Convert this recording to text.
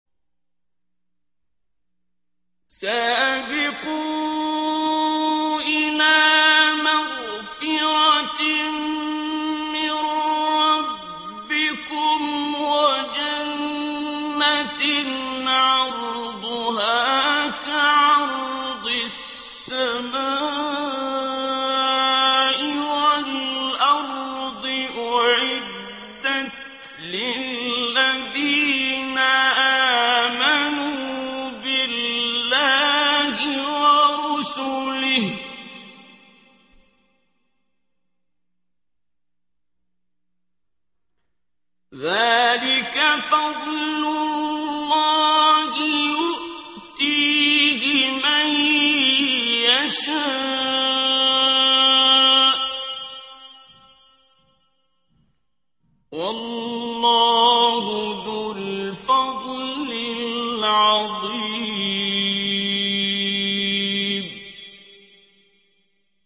سَابِقُوا إِلَىٰ مَغْفِرَةٍ مِّن رَّبِّكُمْ وَجَنَّةٍ عَرْضُهَا كَعَرْضِ السَّمَاءِ وَالْأَرْضِ أُعِدَّتْ لِلَّذِينَ آمَنُوا بِاللَّهِ وَرُسُلِهِ ۚ ذَٰلِكَ فَضْلُ اللَّهِ يُؤْتِيهِ مَن يَشَاءُ ۚ وَاللَّهُ ذُو الْفَضْلِ الْعَظِيمِ